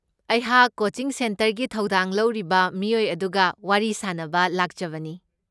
ꯑꯩꯍꯥꯛ ꯀꯣꯆꯤꯡ ꯁꯦꯟꯇꯔꯒꯤ ꯊꯧꯗꯥꯡ ꯂꯧꯔꯤꯕ ꯃꯤꯑꯣꯏ ꯑꯗꯨꯒ ꯋꯥꯔꯤ ꯁꯥꯅꯕ ꯂꯥꯛꯆꯕꯅꯤ꯫